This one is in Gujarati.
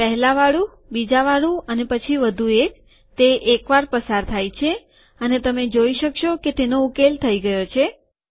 પહેલાવાળું બીજાવાળું અને પછી વધુ એક તે એકવાર પસાર થાય છે અને તમે જોઈ શકશો કે તેનો ઉકેલ થઇ ગયો છે